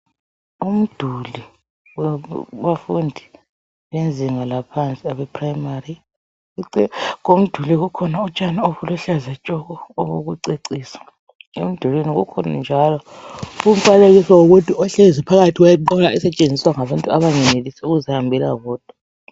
Umduli wabafundi bezinga laphansi abephuremari. Eceleni komduli kukhona utshani obuluhlaza tshoko obokucecisa. Emdulwini kukhona njalo umfanekiso womuntu ohlezi phakathi kwenqola esetshenziswa ngabantu abangenelisi ukuzihambela bodwa.